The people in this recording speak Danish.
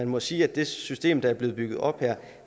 må sige at det system der er blevet bygget op her